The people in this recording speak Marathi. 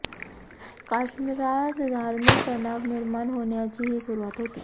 काश्मिरात धार्मिक तणाव निर्माण होण्याची ही सुरूवात होती